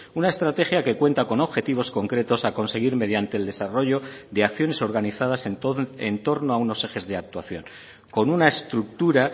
una estrategia que cuenta con objetivos concretos a conseguir mediante el desarrollo de acciones organizadas en torno a unos ejes de actuación con una estructura